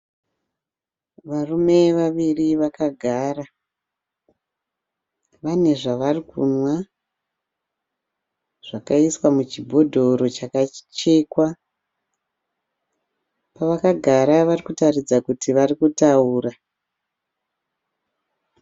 Varume vaviri vakagara. Vane zvavari kunwa zvakaiswa muchibhodhoro chakachekwa. Pavakagara vari kutaridza kuti vari kutaura.